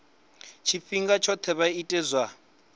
tshifhinga tshoṱhe vha ite zwa